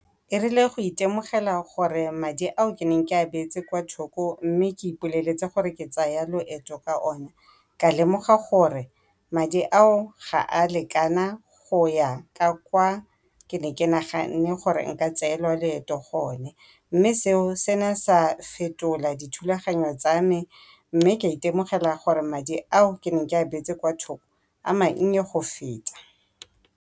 E rile go itemogela gore madi ao ke neng ke a beetse kwa thoko mme ke ipoleletse gore ke tsaya loeto ka o ne, ka lemoga gore madi ao ga a lekana go ya ka kwa ke ne ke naganne gore nka tseelwa loeto gone. Mme seo se ne sa fetola dithulaganyo tsa me mme ka itemogela gore madi ao ke neng ke a beetse kwa thoko a mannye go feta.